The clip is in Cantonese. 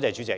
主席，